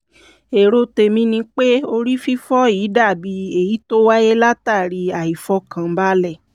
èrò tèmi ni pé orí fífọ́ yìí dàbí èyí tó wáyé látàrí àìfọkànbalẹ̀